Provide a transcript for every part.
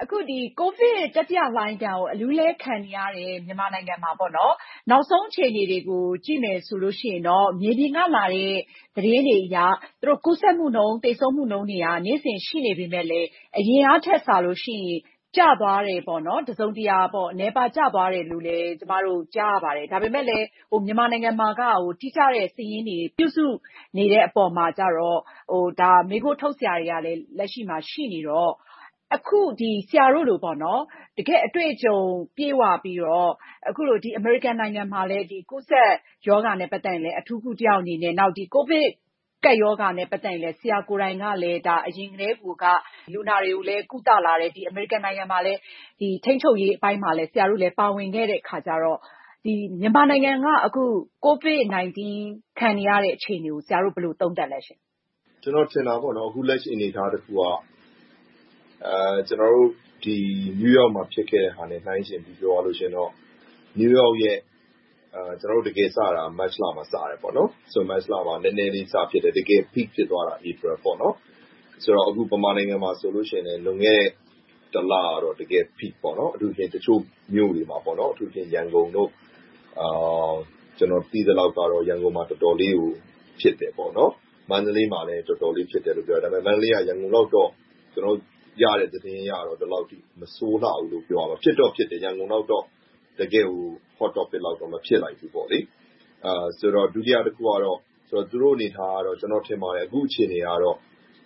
အခု ကိုဗစ်တတိလှိုင်းကို အလူးအလဲ ခံနေရတဲ့ မြန်မာနိုင်ငံမှာ နောက်ဆုံးအခြေအနေတွေကို ကြည့်မယ်ဆိုရင်တော့ မြေပြင်ကလာတဲ့ သတင်းတွေအရ ကူးစက်မှုနှုန်း၊ သေဆုံးမှုနှုန်းတွေက နေ့စဉ်ရှိနေပေမယ့်လဲ အရင်ကထက်စာလို့ရှိရင် တစုံတရာ ကျသွားတယ်၊ နည်းသွားတယ်လို့ ကျမတို့ ကြားရပါတယ်။ ဒါပေမဲ့လဲ မြန်မာနိုင်ငံမှာက တိကျတဲ့စာရင်း ပြုစုနေတဲ့အပေါ်မှာကြတော့ မေးခွန်းထုတ်စရာတွေလည်း လက်ရှိမှာ ရှိနေလေတော့၊ ဆရာတို့လို တကယ့်အတွေ့အကြုံ ပြည့်ဝပြီးတော့၊ အမေရိကန်နိုင်ငံမှာလည်း ကူးစက်ရောဂါနဲ့ ပတ်သက်ရင်လည်း အထူးကုတစ်ယောက်အနေနဲ့။ နောက် ကိုဗစ်ကပ်ရောဂါနဲ့ ပတ်သက်ရင်လည်း ဆရာကိုယ်တိုင်က အရင်ကတည်းကိုက လူနာတွေကိုလည်း ကုသလာတယ်ဆိုတော့ အမေရိကန်နိုင်ငံမှာ ကိုဗစ်ထိန်းချုပ်ရေးပိုင်းမှာလည်း ပါတယ်ဆိုတော့ မြန်မာနိုင်ငံက ကိုဗစ်-၁၉ ခံနေရတဲ့ အခြေအနေကို ဆရာတို့ ဘယ်လိုသုံးသပ်မလဲရှင့်။ ကျနော်ထင်တာပေါ့ - လက်ရှိအနေအထားတစ်ခုက ကျနော်တို့ New York မှာ ဖြစ်ခဲ့တာနဲ့ နှိုင်းယှဉ်ပြောရရင် New York မှာ မတ်လမှာ နည်းနည်းလေးစဖြစ်တယ်။ တကယ်သိသိသာသာ ဖြစ်သွားတာ ဧပြီလ။ ဆိုတော့ မြန်မာနိုင်ငံမှာဆိုလဲ လွန်ခဲ့တဲ့ တစ်လကတော့ Peak ဖြစ်ခဲ့တယ်။ တချို့မြို့တွေမှာ အထူးသဖြင့် ရန်ကုန်တို့ - ကျနော် သိသလောက်တော့ ရန်ကုန်မှာ တော်တော်လေး ဖြစ်တယ်။ မန္တလေးမှာလည်း တော်တော်လေး ဖြစ်တယ်လို့ ပြောတယ်။ ဒါပေမဲ့ မန္တလေးကရတဲ့ သတင်းတွေအရတော့ ရန်ကုန်လောက် မဆိုးလှဘူးလို့ သိရတယ်။ ဖြစ်တော့ဖြစ်တယ် ရန်ကုန်လောက်တော့ မဖြစ်ခဲ့ဘူး။ ဒုတိယတစ်ခုကတော့ သူတို့အနေအထားက ကျနော်ထင်ပါတယ် အခုအခြေအနေကတော့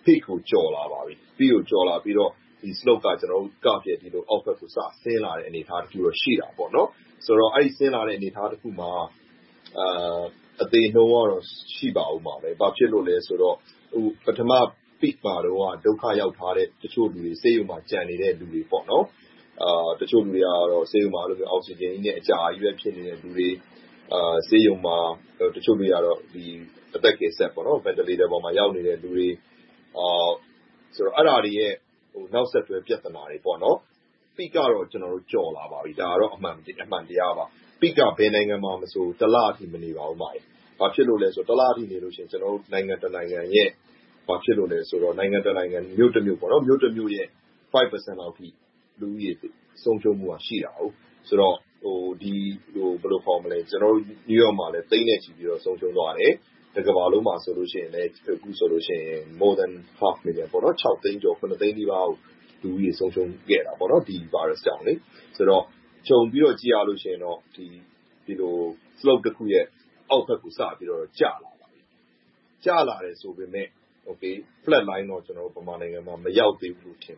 Peak ကို ကျော်လာပါပြီ။ Peak ကို ကျော်လာပြီးတော့ Slope က အောက်ဘက်ကို စဆင်းလာတဲ့ အနေအထားတစ်ခုတော့ ရှိတယ်။ ဆိုတော့ အဲဒီလို ဆင်းလာတဲ့ အနေအထားတစ်ခုမှာ သေနှုန်းကတော့ ရှိလာအုံးမှာပဲ။ ဘာဖြစ်လို့လဲဆိုတော့ ပထမ Peak မှာတုန်းက ဒုက္ခရောက်ထားတဲ့လူတွေ၊ ဆေးရုံမှာ ကျန်နေတဲ့လူတွေ၊ တချို့လူတွေက ဆေးရုံမှာ အောက်ဆီဂျင်နဲ့ အကြာကြီးကုစားနေသူတွေ။ တချို့တွေက ဆေးရုံမှာ အသက်ကယ်စက်ပေါ် ရောက်နေတဲ့လူတွေ။ အဲဒါတွေရဲ့ နောက်ဆက်တွဲ ပြဿနာတွေပေါ့။ Peak ကတော့ ကျော်လာပါပြီ။ ဒါကတော့ အမှန်တရားပါ။ Peak က ဘယ်နိုင်ငံမှာမဆို တစ်လလောက်ပါပဲ။ ဘာဖြစ်လို့လဲဆိုရင် တစ်လဆိုရင် နိုင်ငံတနိုင်ငံ၊ မြို့တမြို့ရဲ့ ရာခိုင်နှုန်းလောက် လူဦးရေ ဆုံးရှုံးမှုရှိတယ်ဆိုတော့ ကျနော်တို့ New York မှာလည်း သိန်းနဲ့ချီပြီးတော့ ဆုံးရှုံးသွားတယ်။ တကမ္ဘာလုံးမှာလည်း အခုဆိုရင် သိန်းနီးပါး လူဦးရေဆုံးရှုံးခဲ့တယ်။ ခြုံပြီးတော့ ကြည့်ရရင်တော့ Slope တစ်ခုရဲ့ အောက်ဘက်ကို ကျလာတယ်။ ကျလာတယ်ဆိုပေမယ့် Flat Line တော့ မြန်မာနိုင်ငံမှာ မရောက်သေးဘူး။ ဘာဖြစ်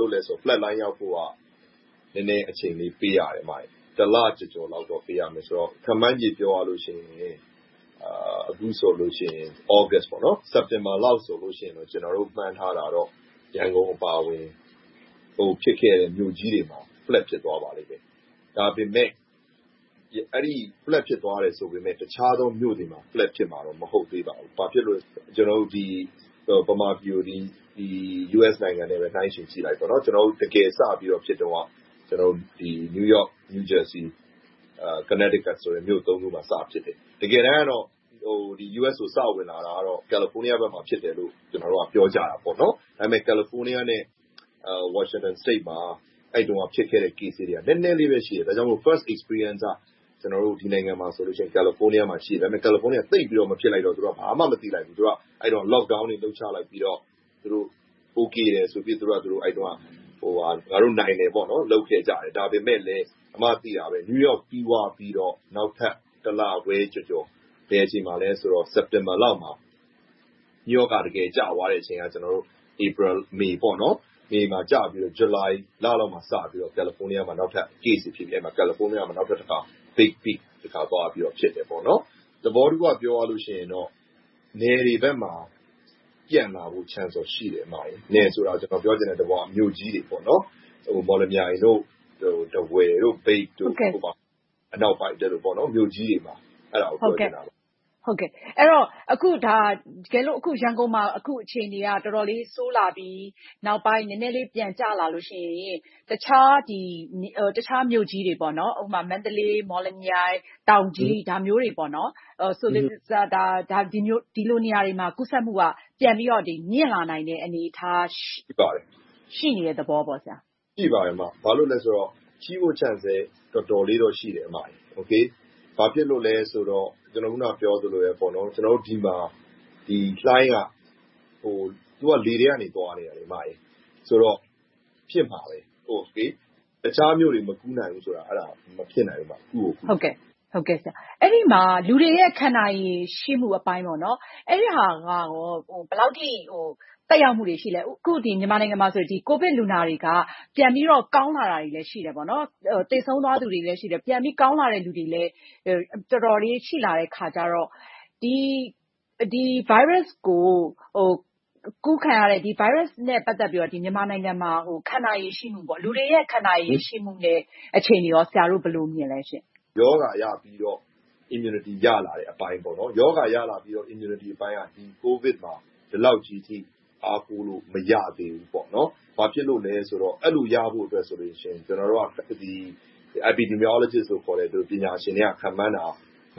လို့လဲဆိုတော့ Flat Line ရောက်ဖို့က နည်းနည်းအချိန်ပေးရတယ်။ တစ်လကျော်ကျော်လောက် ပေးရမယ်ဆိုတော့ ခန့်မှန်းချေ ပြောရမယ်ဆိုရင် အခုဆိုရင် သြဂတ်စ်၊ စက်တင်ဘာလလောက်ဆိုရင် ကျနော်တို့ မှန်းထားတာတော့ ရန်ကုန်အပါအဝင် အကုန်ဖြစ်ခဲ့တဲ့ မြို့ကြီးတွေမှာ Flat ဖြစ်သွားပါလိမ့်မယ်။ ဒါပေမဲ့ Flat ဖြစ်သွားတယ်ဆိုပေမယ့် တခြားမြို့တွေမှာတော့ Flat ဖြစ်မှာတော့ မဟုတ်သေးပါဘူး။ ဘာဖြစ်လို့လဲဆိုတော့ မြန်မာပြည်ကို US နဲ့ နှိုင်းယှဉ်ကြည့်ပြောရင် ဒီမှာ တကယ်ဖြစ်တုန်းက New York, New Jersey, Connecticut မြို့ ခုမှာ စဖြစ်ခဲ့တယ်။ တကယ်တမ်းတော့ US ကို စဝင်လာတာ California ဘက်မှာ ဖြစ်ကြတယ်လို့ ပြောကြတယ်။ ဒါပေမဲ့ California နဲ့ Washington State မှာ အဲဒီတုန်းက ဖြစ်ခဲ့တဲ့ Case က နည်းနည်းလေးပဲရှိတော့ First experience က ဒီနိုင်ငံမျာဆိုရင် California ဖြစ်ပေမယ့်၊ California က သိပ်မဖြစ်လိုက်တော့ ဘာမှမသိလိုက်ဘူး။ အဲဒီတုန်းက Lockdown တွေ လုပ်ချလိုက်ပြီးတော့ Okay ငါတို့ နိုင်တယ်ဆိုပြီးတော့ လုပ်ခဲ့ကြတယ်။ ဒါပေမဲ့လဲ New York ဖြစ်သွားပြီး၊ နောက်ထပ်တစ်လခွဲကျော်ကျော် စက်တင်ဘာလမှာ New York က တကယ်ကျသွားတဲ့အချိန်က ဧပြီ၊ မေလမှာ။ ဇွန်လိုင်လလောက်မှာစပြီးတော့ California မှာ Case တွေ ထပ်ဖြစ်ပြီး၊ Big Peak သွားဖြစ်တယ်။ သဘောတစ်ခုက ပြောရရင်တော့ နယ်တွေဘက်မှာ ဖြစ်လာမယ့်အနေအထားတော့ ရှိတယ်။ နယ်ဆိုတာက ကျနော်ပြောချင်တာ မြို့ကြီးတွေပေါ့။ မော်လမြိုင်၊ ထားဝယ်၊ မြိတ်စတဲ့ မြို့ကြီးတွေမှာ ဖြစ်နိုင်တယ်လို့ ပြောချင်တာပါ။ အဲဒီတော့ ရန်ကုန်မှာ အခုအခြေအနေက တော်တော်လေး ဆိုးလာပြီး၊ နောက်ပိုင်း နည်းနည်းလေး ပြန်ကျလာလို့ရှိရင် တခြားမြို့ကြီးတွေ မန္တလေး၊ မော်လမြိုင်၊ တောင်ကြီး စတဲ့ နေရာတွေမှာ ကူးစက်မှုက ပြန်ပြီးတော့ မြှင့်လာနိုင်တဲ့ အနေအထား ရှိနေတဲ့ သဘောပေါ့။ ရှိပါတယ်။ ရှိမယ့် Chance လည်း တော်တော်လေးတော့ ရှိတယ်။ ဘာဖြစ်လို့လဲဆိုတော့ အခုနပြောသလိုပဲ ဒီမှာ လှိုင်းက - ဗိုင်းရပ်စ်ပိုးက လေထဲက သွားနေတာဆိုတော့ ဖြစ်မှာပဲ။ အခြားမြို့တွေ မကူးနိုင်ဘူးဆိုတာ မဖြစ်နိုင်ဘူး။ ကူးကိုကူးမှာ။ အဲဒီမှာ လူတွေရဲ့ ခံနိုင်ရည် ရှိမှုအပိုင်း။ အဲဒါက ဘယ်လောက်အထိ သက်ရောက်မှုတွေ ရှိသလဲ။ အခု မြန်မာနိုင်ငံမှာဆိုရင် ကိုဗစ်လူနာတွေက ပြန်ပြီးတော့ ကောင်းလာတာတွေလည်း ရှိတယ်။ သေဆုံးသွားသူတွေလည်း ရှိတယ်။ ကောင်းလာတဲ့လူတွေလည်း တော်တော်လေး ရှိလာတော့ ဒီဗိုင်းရပ်စ်နဲ့ ပတ်သက်ပြီးတော့ မြန်မာနိုင်ငံမှာ ခံနိုင်ရည်ရှိမှု၊ လူတွေရဲ့ ခံနိုင်ရည်ရှိမှုနဲ့ အခြေအနေကော ဆရာတို့ ဘယ်လိုမြင်သလဲ။ ရောဂါရပြီးတော့ Immunity ရလာတဲ့ အပိုင်းပေါ့။ ရောဂါရပြီး Immunity အပိုင်းက ကိုဗစ်မှာ ဒီလောက်ကြီးအထိ အားကိုးလို့မရသေးဘူး။ ဘာဖြစ်လို့လဲဆိုတော့ အဲဒီလိုရဖို့ဆိုရင် ကျနော်တို့က epidemiologist တွေ ခန့်မှန်းတာက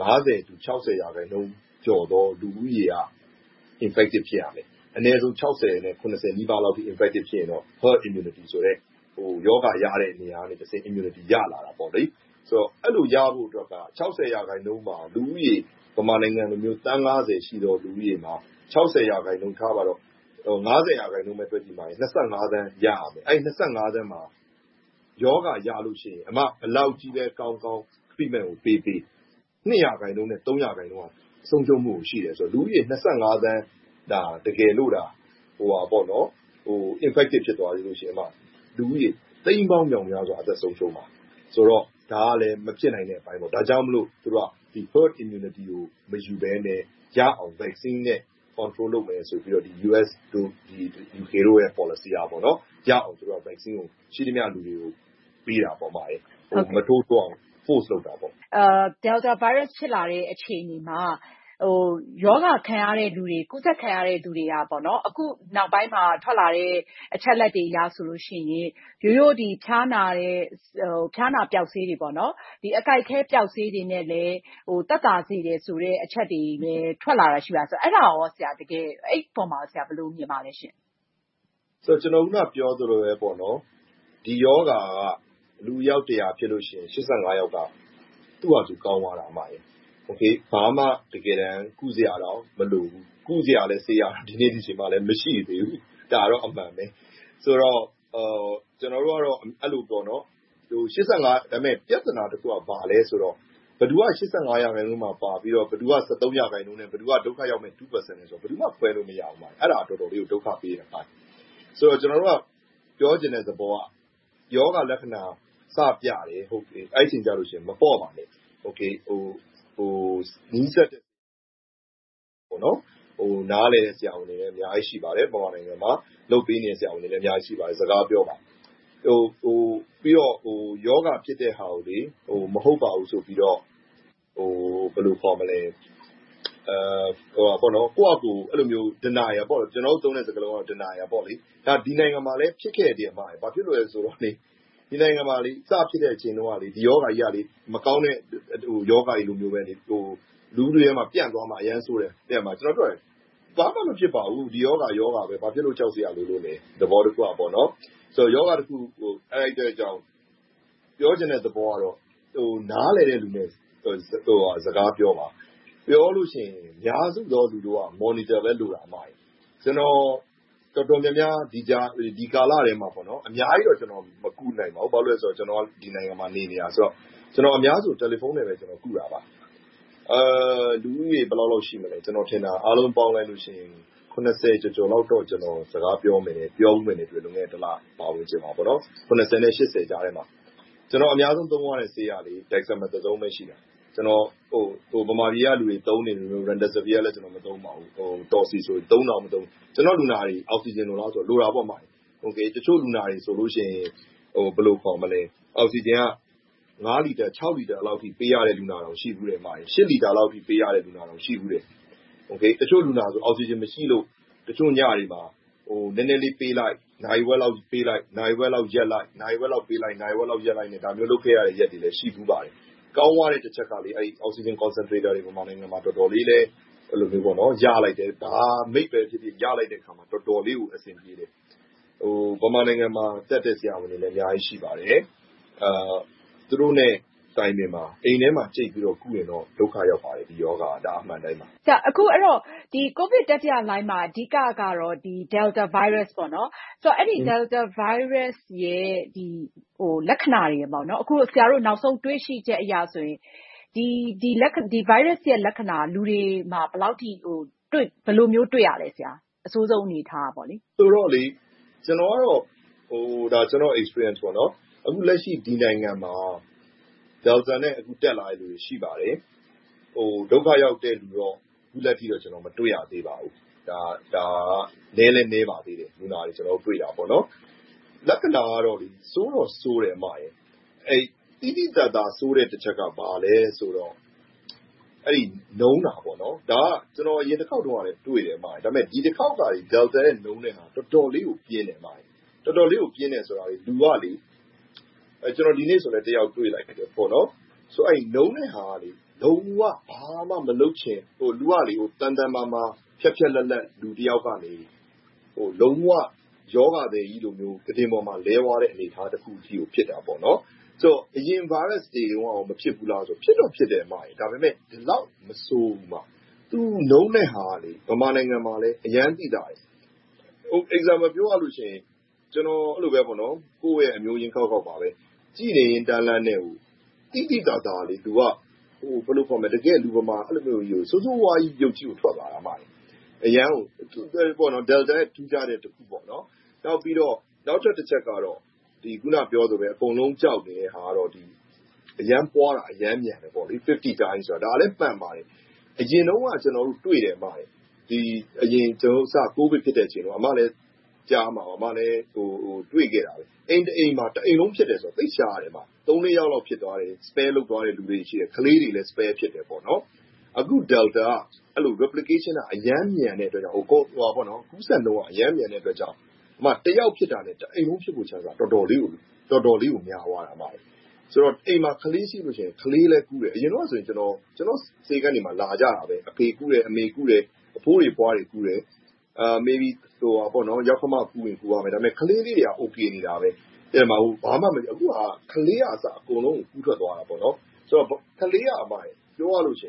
၅၀-၆၀ ရာခိုင်နှုန်းကျော်သော လူဦးရေက infective ဖြစ်ရမယ်။ အနည်းဆုံး ၆၀-၇၀ နီးပါး infective ဖြစ်ရင်တော့ herd immunity ဆိုတဲ့ ရောဂါရတဲ့နေရာကနေ immunity ရလာတာပေါ့။ အဲဒီလိုရဖို့အတွက်က ၆၀ ရာခိုင်နှုန်းမှာ လူဦးရေ မြန်မာနိုင်ငံလို သန်း ရှိသော လူဦးရေမှာ ရာခိုင်နှုန်းထားပါတော့ - ရာခိုင်နှုန်းပဲတွက်ကြည့် သန်း ရရမယ်။ အဲဒီ သန်းမှာ ရောဂါရလို့ရှိရင် ဘယ်လောက်ကြီးပဲကောင်းကောင်း treatment ကိုပေးပေး၊ ရာခိုင်နှုန်း ဆုံးရှုံးမှု ရှိတယ်ဆိုတယ်။ လူဦးရေ သန်း တကယ်လိုသာ ရောဂါဖြစ်တယ်ဆိုရင် လူဦးရေ သိန်းပေါင်းမြောက်မြားစွာ အသက်ဆုံးရှုံးမယ်ဆိုတော့ ဒါကလဲ မဖြစ်နိုင်တဲ့အပိုင်းပေါ့။ ဒါကြောင့်မို့ သူတို့က Herd Immunity ကို မယူဘဲနဲ့ ရအောင် Vaccine နဲ့ Control လုပ်မယ်ဆိုပြီးတော့ US တို့ UK တို့ရဲ့ ပေါ်လစီက Vaccine ကို ရှိသမျှလူတွေကို ထိုးပေးတာ။ မထိုးထိုးအောင် ဖိအားပေးတာပေါ့။ Delta Virus ဖြစ်လာတဲ့ အခြေအနေမှာ ကူးစက်ခံရတဲ့လူတွေက အခုနောက်ပိုင်းမှာ ထွက်လာတဲ့ အချက်အလက်တွေအရဆိုရင် ရိုးရိုးဖျားနာပျောက်ဆေးတွေ၊ အကိုက်အခဲပျောက်ဆေးတွေနဲ့လည်း သက်သာစေတယ်ဆိုတဲ့ အချက်တွေလည်း ထွက်လာတာရှိတယ်။ အဲဒီအပေါ် ဆရာ ဘယ်လိုမြင်ပါသလဲရှင့်။ ကျနော် အခုနပြောသလိုပါပဲ ဒီရောဂါက လူအယောက်တစ်ရာဖြစ်ရင် ယောက်က သူ့ဘာသာသူ ကောင်းသွားတယ်။ တကယ်တမ်း ဘာမှကုစရာတောင် မလိုဘူး။ ကုစရာဆေးကလည်း ဒီနေ့ဒီအချိန်အထိ မရှိသေးဘူး။ ဒါကတော့ အမှန်ပဲ။ ဒါပေမဲ့ ပြဿနာတစ်ခုက ဘာလဲဆိုတော့ ဘယ်သူက ရာခိုင်နှုန်းမှာပါပြီးတော့ ဘယ်သူက ရာခိုင်နှုန်းနဲ့ ဘယ်သူက ဒုက္ခရောက်မယ့် ရာခိုင်နှုန်းလဲဆိုတာကို ဘယ်သူမှ ခွဲလို့မရဘူး။ အဲဒါက တော်တော်လေးကို ဒုက္ခပေးတဲ့အပိုင်း။ ကျနော်တို့က ပြောချင်တဲ့သဘောက ရောဂါလက္ခဏာ စပြတယ်။ အဲဒီအချိန်ကျရင် မပေါ့ပါနဲ့။ နားလည်တဲ့ ဆရာဝန်တွေ မြန်မာနိုင်ငံမှာ အများကြီးရှိပါတယ်။ ကုပေးနေတဲ့ ဆရာဝန်တွေလည်း အများကြီးရှိပါတယ်။ သူတို့နဲ့ စကားပြောပါ။ ပြီးတော့ ရောဂါဖြစ်တဲ့ဟာကို မဟုတ်ပါဘူးဆိုပြီးတော့ ကိုယ့်ဘာသာ Denial – ဒီနိုင်ငံမှာလည်း ဖြစ်ခဲ့တယ်။ ဒီနိုင်ငံမှာ စဖြစ်ခဲ့တဲ့အချိန်တုန်းက ဒီရောဂါကြီးက မကောင်းတဲ့ရောဂါကြီးလိုပဲ လူထုထဲမှာ ပြန့်သွားမှာ အရမ်းဆိုးတယ်။ ကျနော်ပြောသလို ဘာမှမဖြစ်ပါဘူး။ ရောဂါက ရောဂါပဲ ဘာဖြစ်လို့ ကြောက်စရာလိုလို့လဲ။ သဘောတစ်ခုက ရောဂါတစ်ခုကို အဲဒီအတွက်ကြောင့် ပြောချင်တဲ့သဘောကတော့ နားလည်တဲ့လူနဲ့ စကားပြောပါ။ ပြောလို့ရှိရင် အများစုသော လူတို့က Monitor ပဲ လိုတာ။ ကျနော် တော်တော်များများ ဒီကာလထဲမှာ အများကြီးတော့ မကုနိုင်ပါဘူး။ ဘာဖြစ်လို့လဲဆိုတော့ ကျနော်က ဒီနိုင်ငံမှာ နေနေတာဆိုတော့ အများစုကို တယ်လီဖုန်းနဲ့ပဲ ကုတာပါ။ လူဦးရေအားလုံးပေါင်း ကျော်ကျော်လောက်တော့ စကားပြောခဲ့ကုခဲ့ပါတယ်။ တစ်လအတွင်း နဲ့ ကြားထဲမှာ။ ကျနော် အများဆုံးသုံးရတဲ့ဆေးက Testosterone ပဲ ရှိတယ်။ မြန်မာပြည်ကလူတွေ သုံးနေတဲ့ Remdesivir လည်း မသုံးပါဘူး။ ကျနော့်လူနာတွေ အောက်ဆီဂျင်လိုလားဆိုတော့ လိုတာပေါ့။ တချို့လူနာတွေဆိုရင် အောက်ဆီဂျင်က လီတာ လီတာလောက်အထိ ပေးရတဲ့လူနာတောင် ရှိတယ်။ လီတာလောက်အထိ ပေးရတဲ့လူနာတောင် ရှိဖူးတယ်။ တချို့လူနာတွေဆို အောက်ဆီဂျင် မရှိလို့ တချို့ညတွေမှာ နည်းနည်းလေးပေးလိုက်၊ နာရီဝက်လောက်ပေးလိုက်၊ နာရီဝက်လောက်ရပ်လိုက်နဲ့ ဒါမျိုးလုပ်ခဲ့ရတဲ့ ရက်တွေလည်း ရှိခဲ့ဖူးပါတယ်။ ကောင်းသွားတဲ့တစ်ချက်က Oxygen Concentrator တွေ မြန်မာနိုင်ငံမှာ ရလိုက်တယ်။ ဘယ်လိုအမျိုးအစားပဲဖြစ်ဖြစ် ရလိုက်တော့ တော်တော်လေးကို အဆင်ပြေတယ်။ မြန်မာနိုင်ငံမှာ တတ်တဲ့ဆရာဝန်တွေလည်း အများကြီးရှိပါတယ်။ သူတို့နဲ့ တိုင်ပင်ပါ။ အိမ်ထဲမှာ ကြိတ်ပြီးတော့ ကုရင်တော့ ဒုက္ခရောက်ပါတယ်။ ဒီရောဂါက။ ဒါက အမှန်အတိုင်းပါ။ အဲဒီတော့ ကိုဗစ်တတိယလှိုှုင်းမှာ အဓိကတော့ Delta Virus ပေါ့။ အဲဒီဗိုင်းရပ်စ်ရဲ့ လက္ခဏာတွေက - အခုဆရာတို့ နောက်ဆုံးတွေ့ရှိချက်အရဆိုရင် ဒီဗိုင်းရပ်စ်ရဲ့ လက္ခဏာက လူတွေမှာ ဘယ်လိုမျိုး တွေ့ရသလဲ။ အဆိုးဆုံးအနေအထားက။ ကျနော့်အတွေ့အကြုံအရဆိုရင် အခုလက်ရှိ ဒီနိုင်ငံမှာ Delta နဲ့ တက်လာတဲ့လူနာတွေ ရှိပါတယ်။ ဒုက္ခရောက်တဲ့လူတော့ အခုထက်ထိတော့ မတွေ့ရသေးပါဘူး။ ဒါက နည်းလည်းနည်းပါသေးတယ်။ လက္ခဏာကတော့ ဆိုးတော့ဆိုးတယ်။ သိသိသာသာ ဆိုးတဲ့တစ်ချက်က ဘာလဲဆိုတော့ နုန်းချည့်တာ။ အရင်တစ်ခေါက်တုန်းကလည်း တွေ့တယ်။ ဒါပေမဲ့ ဒီတစ်ခေါက် Delta ရဲ့ နုန်းတဲ့ဟာက တော်တော်လေး ပြင်းထန်တယ်။ တော်တော်လေး ပြင်းတယ်ဆိုတာ ဥပမာ ဒီနေ့ဆိုလဲ လူနာတစ်ယောက်တွေ့တယ်။ နုန်းတဲ့ဟာက ဘာမှမလုပ်ချင်၊ လူက သန်သန်မာမာ ဖျတ်ဖျတ်လတ်လတ် လူတစ်ယောက်ကနေ လုံးဝရောဂါသည်ကြီးလို ကုတင်ပေါ်မှာ လဲသွားတဲ့ အနေအထားတစ်ခုကို ဖြစ်သွားတာ။ ဆိုတော့ အရင်းဗိုင်းရပ်စ်တွေတုန်းက မဖြစ်ဘူးလားဆိုရင် ဖြစ်တာပေါ့။ ဒါပေမဲ့ ဒီလောက် မဆိုးဘူး။ သူနုန်းတဲ့ဟာက မြန်မာနိုင်ငံမှာလည်း အရမ်းသိသာတယ်။ ဥပမာပြောရရင် ကျနော်ကုသခဲ့တဲ့ အမျိုးရင်းခေါက်ခေါက်ဆိုလဲ ကြည့်နေရင်တန်းလန်းနဲ့ သိသိသာသာ လူက တကယ်လူမမာ ဆိုးဆိုးဝါးဝါးကြီး ဖြစ်သွားတာ။ Delta ရဲ့ ထူးခြားတဲ့အချက်ပေါ့။ နောက်ထပ်တစ်ချက်ကတော့ အခုနပြောသလိုပဲ အကုန်လုံး ကြောက်တဲ့ဟာကတော့ အရမ်းပွားတာ၊ အရမ်းမြန်တယ်။ အဆ နှုန်းရှိတယ်။ ဒါလဲမှန်ပါတယ်။ အရင်တုန်းက ကျနော်တို့တွေ့တယ် - အစပိုင်း ကိုဗစ်ဖြစ်ချိန်တုန်းက အိမ်တစ်အိမ်မှာ တစ်အိမ်လုံးဖြစ်တယ်ဆိုတာ သိပ်ရှားတယ်။ သုံးလေးယောက်ဖြစ်တယ်၊ ကျန်တဲ့လူ မဖြစ်ဘူး။ ကလေးတွေ မဖြစ်ဘူး။ အခု Delta က Replication က အရမ်းမြန်တဲ့အတွက်ကြောင့် ကူးစက်နှုန်း အရမ်းမြန်တဲ့အတွက်ကြောင့် တစ်ယောက်ဖြစ်တာနဲ့ တစ်အိမ်လုံး ဖြစ်ဖို့အခွင့်အရေး တော်တော်လေးကို များသွားတယ်။ ဆိုတော့ အိမ်မှာ ကလေးရှိရင်လဲ ကလေးလည်း ကူးတယ်။ အရင်တုန်းကဆိုရင် ကျနော့်ဆေးခန်းတွေမှာ လာကြတာပဲ - အဖေကူးတယ်၊ အမေကူးတယ်။ အဖိုးအဖွားတွေ ကူးတယ်။ ယောက္ခမကူးပေမယ့် ကလေးတွေက အိုကေနေတယ်။ ဘာမှမဖြစ်ခဲ့ဘူး။ အခုကတော့ ကလေးကအစ အကုန်လုံးကို ကူးစက်သွားတယ်။ ပြောရမယ်ဆိုရင် ကလေးက တော်တော်လေးကို စ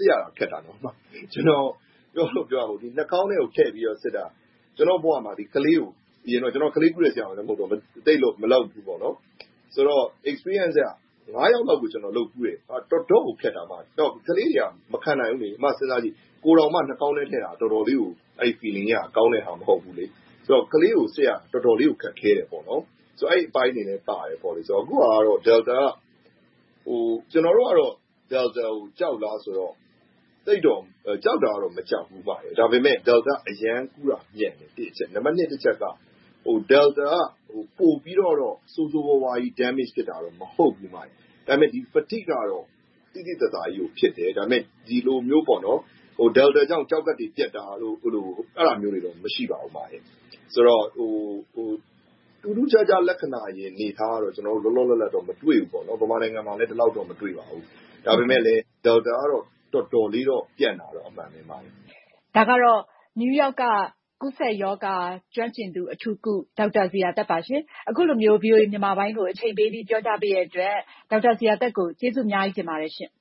စ်ရခက်တယ်။ နှာခေါင်းထဲကိုထည့်ပြီးစစ်တာ - ကျနော်က ကလေးကုတဲ့ ဆရာဝန်လည်း မဟုတ်တော့ - အတွေ့အကြုံအရ ယောက်လောက်ကို စစ်ဖူးတယ်။ တော်တော့်ကို ခက်တယ်။ ကလေးတွေက မခံနိုင်ဘူး။ စဉ်းစားကြည့် ကိုယ်တောင်မှ နှာခေါင်းထဲကို ထည့်စစ်တာ အတော်ခံရတော့ ကလေးကို စစ်ရတာ တော်တော်လေးကို ခက်ခဲတယ်။ အဲဒီအပိုင်းတွေလည်းပါတယ်။ အခုဟာက Delta က ကျနော်တို့အနေနဲ့ Delta ကို ကြောက်လားဆိုတော့ ကြောက်တာတော့ မကြောက်ဘူး၊ ဒါပေမဲ့ Delta က ကူးစက်မှုအရမ်းမြန်တယ်။ နံပါတ်နှစ်အချက်က Delta က ပိုပြီးတော့ ဆိုးဆိုးဝါးဝါး ထိခိုက်တာတော့ မဟုတ်ဘူး။ ဒါပေမဲ နုန်းချည့်မှုကတော့ သိသိသာသာကြီးကို ဖြစ်တယ်။ ဒီလိုမျိုး Delta ကြောင့် ကျောက်ကပ်တွေ ပျက်တာတို့၊ အဲဒါမျိုးတွေတော့ မရှိပါဘူး။ ဆိုတော့ ထူးထူးခြားခြား လက္ခဏာရယ်လို့တော့ လောလောလတ်လတ်တော့ မတွေ့ပါဘူး။ မြန်မာနိုင်ငံမှာလည်း ဒီလောက်တော့ မတွေ့ပါဘူး။ ဒါပေမဲ့ Delta ကတော့ တော်တော်လေးတော့ ပြန့်တာတော့ အမှန်ပါပဲ။ ဒါကတော့ New York က ကူးစက်ရောဂါ ကျွမ်းကျင်သူ၊ အထူးကုဆရာဝန် ဒေါက်တာဇေယျာသက်ပါ။ အခုလိုမျိုး VOA မြန်မာပိုင်းကို အချိန်ပေးပြီး ပြောကြားပေးတဲ့အတွက် ဒေါက်တာဇေယျာသက်ကို ကျေးဇူးအများကြီးတင်ပါတယ်ရှင့်